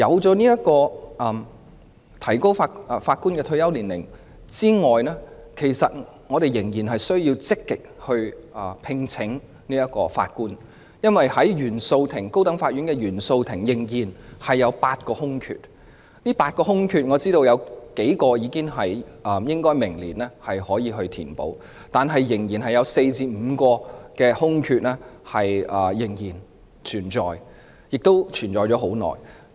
除了提高法官的退休年齡外，我們仍然需要積極聘請法官，因為高等法院原訟法庭仍然有8個空缺，我知道當中有數個空缺可於明年填補，但仍然有4個至5個空缺，並已經存在很久。